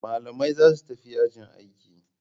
Malamai zasu tafi yajin aiki